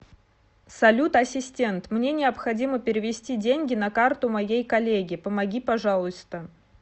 салют ассистент мне необходимо перевести деньги на карту моей коллеге помоги пожалуйста